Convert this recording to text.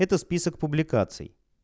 это список публикаций